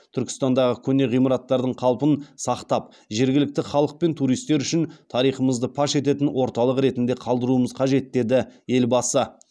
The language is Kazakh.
түркістандағы көне ғимараттардың қалпын сақтап жергілікті халық пен туристер үшін тарихымызды паш ететін орталық ретінде қалдыруымыз қажет деді елбасы